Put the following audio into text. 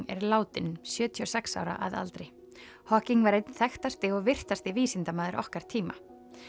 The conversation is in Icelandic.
er látinn sjötíu og sex ára að aldri hawking var einn þekktasti og virtasti vísindamaður okkar tíma